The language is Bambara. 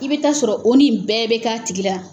I bi taa sɔrɔ oni bɛɛ bɛ k'a tigi la.